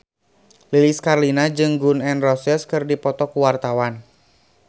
Lilis Karlina jeung Gun N Roses keur dipoto ku wartawan